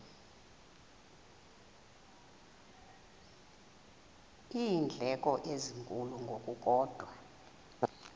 iindleko ezinkulu ngokukodwa